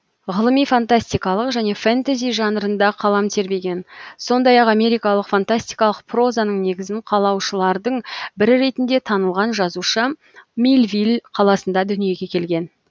ғылыми фантастикалық және фэнтези жанрында қалам тербеген сондай ақ америкалық фантастикалық прозаның негізін қалаушылардың бірі ретінде танылған жазушы милвилл қаласында дүниеге келген